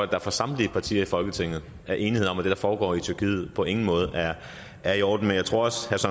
der fra samtlige partiers folketinget er enighed om at det der foregår i tyrkiet på ingen måde er i orden jeg tror